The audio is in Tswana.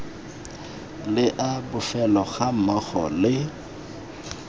le a bofelo gammogo le